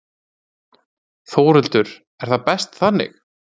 Þórhildur: Er það best þannig?